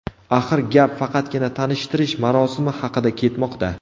Axir gap faqatgina tanishtirish marosimi haqida ketmoqda.